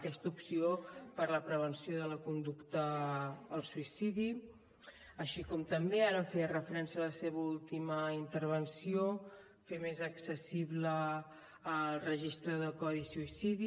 aquesta opció per a la prevenció de la conducta al suïcidi així com també ara en feia referència a la seva última intervenció fer més accessible el registre de codi suïcidi